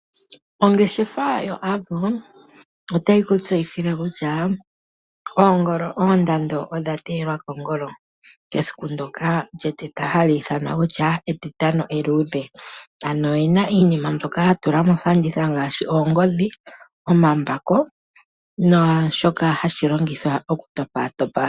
Ongeshefa yo Avo otayi kutseyithile kutya oondando odha teyelwa kongolo dhesiku ndoka hali ithanwa kutya etitano eluudhe. Ano oyena iinima mbyoka ya tula mofanditha ngaashi oongodhi, omambako naashoka hashi longithwa okutopatopa.